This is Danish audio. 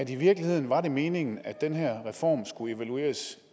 i virkeligheden var meningen at den her reform skulle evalueres